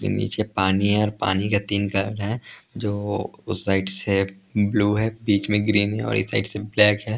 कि नीचे पानी है और पानी के तीन कलर हैं जो उस साइड से ब्लू हैं बीच में ग्रीन हैं और इस साइड से ब्लैक हैं।